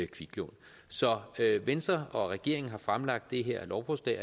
kviklån så venstre og regeringen har fremsat det her lovforslag